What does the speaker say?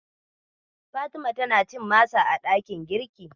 Fatima tana cin masa a ɗakin girkin.